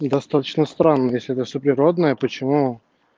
не достаточно странно если всё природное почему